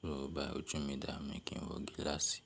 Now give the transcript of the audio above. So bá ojú mi dá, mi kì í wọ gíláàsì.